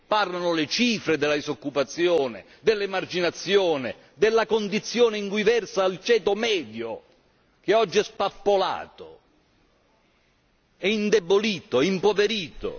Parlano le cifre, della disoccupazione, dell'emarginazione, della condizione in cui versa il ceto medio, che oggi è spappolato, è indebolito, è impoverito.